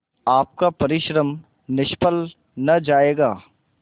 आपका परिश्रम निष्फल न जायगा